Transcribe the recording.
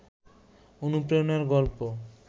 অনুপ্রেরণার গল্প